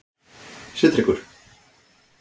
Sigtryggur